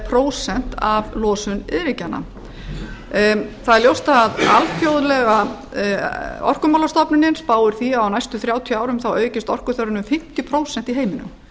prósent af losun iðnríkjanna það er ljóst að alþjóðlega orkumálastofnunin spáir því að á næstu þrjú hundruð níutíu árum aukist orkuþörfin um fimmtíu prósent í heiminum